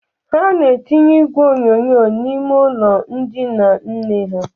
Ha na-etinye igwe onyonyo n'ime ụlọ ndịna nne ha.